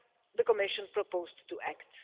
the Commission has proposed to act.